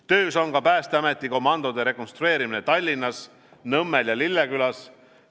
Töös on ka Päästeameti komandode rekonstrueerimine Tallinnas Nõmmel ja Lillekülas.